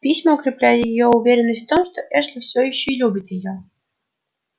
письма укрепляли её уверенность в том что эшли все ещё любит её